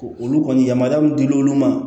Olu kɔni yamaruya min dil'olu ma